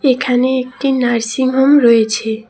এখানে একটি nursing home রয়েছে।